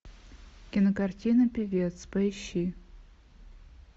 кинокартина певец поищи